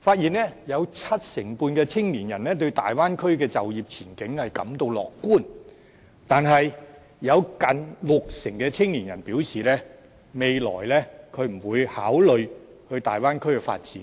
發現有七成半的青年人對大灣區的就業前景感到樂觀，但有近六成的青年人表示未來不會考慮前往大灣區發展。